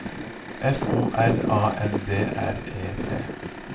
F O R A N D R E T